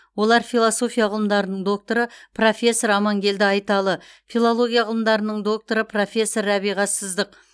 олар философия ғылымдарының докторы профессор амангелді айталы филология ғылымдарының докторы профессор рәбиға сыздық